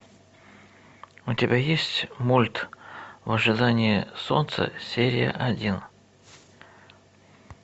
у тебя есть мульт в ожидании солнца серия один